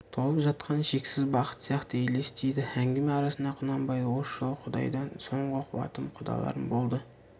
толып жатқан шексіз бақыт сияқты елестейді әңгіме арасында құнанбай осы жолы құдайдан соңғы қуатым құдаларым болды